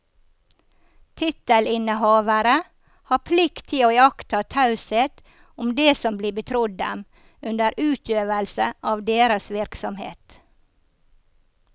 Tittelinnehavere har plikt til å iaktta taushet om det som blir betrodd dem under utøvelse av deres virksomhet.